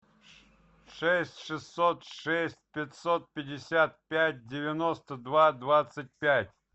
шесть шестьсот шесть пятьсот пятьдесят пять девяносто два двадцать пять